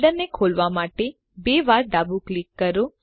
ફોલ્ડરને ખોલવા માટે બે વાર ડાબું ક્લિક કરો